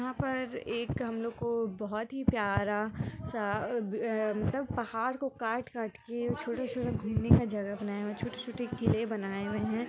यहाँ पर एक हमलोग को बहुत ही प्यारा सा मतलब पहाड़ को काट-काट के छोटा-छोटा घूमने का जगह बनाया हुआ छोटे-छोटे किले बनाये हुए है।